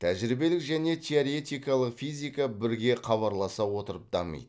тәжірибелік және теоретикалық физика бірге хабарласа отырып дамиды